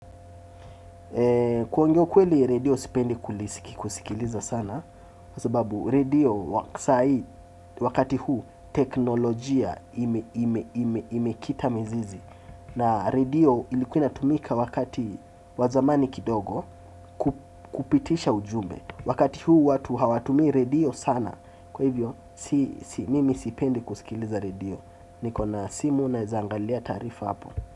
Kuongea ukweli redio sipendi kusikiliza sana kwa sababu redio wasai wakati huu teknolojia imekita mizizi. Na radio ilikua inatumika wakati wazamani kidogo kupitisha ujumbe. Wakati huu watu hawatumi redio sana kwa hivyo mimi sipendi kusikiliza redio niko na simu naeza angalia taarifa hapo.